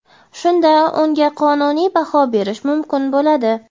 shunda unga qonuniy baho berish mumkin bo‘ladi.